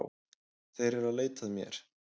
Þeir eru að leita að mér